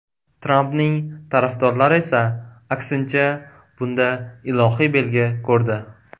Trampning tarafdorlari esa, aksincha, bunda ilohiy belgi ko‘rdi.